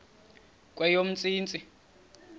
kweyomntsintsi